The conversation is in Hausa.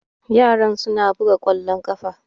Yaran suna buga ƙwallon ƙafa